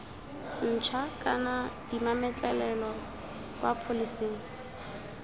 ntšha kana dimametlelelo kwa pholeseng